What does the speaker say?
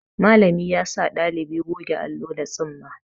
Malami yasa ɗalibi goge allo da tsumma.